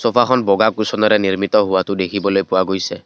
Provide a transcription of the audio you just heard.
চ'ফাখন বগা কুচনেৰে নিৰ্মিত হোৱাটো দেখিবলৈ পোৱা গৈছে।